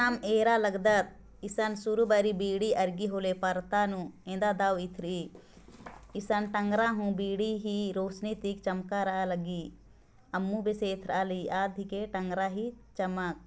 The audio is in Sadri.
एम् एरा लगदा एसन सुरु बाड़ी बीडी अरगी होले परता नु एदा दाऊ एथरे इसन तंगरा हों बीडी रौशनी ति चमकारा लग्गी अम्मू बेस एथ्राली आद हिके टंगरा ही चमक